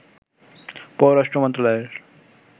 পররাষ্ট্র মন্ত্রণালয়ের